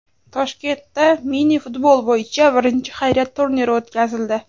Toshkentda mini-futbol bo‘yicha birinchi xayriya turniri o‘tkazildi.